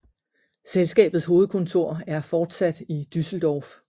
Selskabets hovedkontor er fortsat i Düsseldorf